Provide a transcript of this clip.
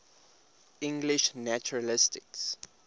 english naturalists